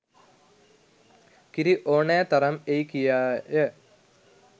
කිරි ඕනෑ තරම් එයි කියාය